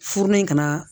Furulen kana